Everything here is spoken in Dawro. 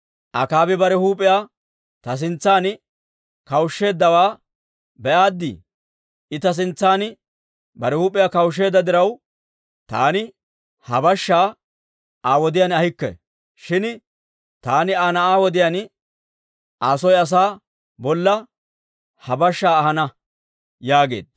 «Akaabi bare huup'iyaa ta sintsan kawushsheeddawaa be'aadii? I ta sintsan bare huup'iyaa kawushsheedda diraw, taani ha bashshaa Aa wodiyaan ahikke. Shin taani Aa na'aa wodiyaan Aa soo asaa bolla ha bashshaa ahana» yaageedda.